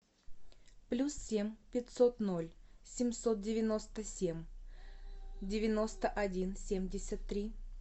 плюс семь пятьсот ноль семьсот девяносто семь девяносто один семьдесят три